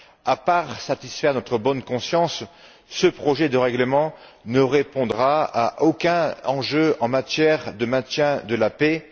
À part satisfaire notre bonne conscience, ce projet de règlement ne répondra à aucun enjeu en matière de maintien de la paix.